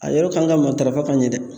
A yɔrɔ kan ka matarafa ka ɲɛ dɛ